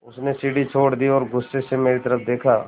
उसने सीढ़ी छोड़ दी और गुस्से से मेरी तरफ़ देखा